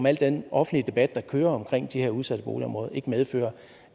at al den offentlige debat der kører om de her udsatte boligområder medfører